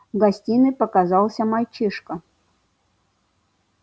в гостиной показался мальчишка